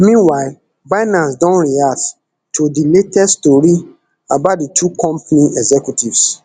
meanwhile binance don react to di latest tori about di two company executives